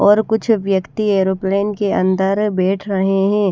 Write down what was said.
और कुछ व्यक्ति एरोप्लेन के अंदर बैठ रहे है।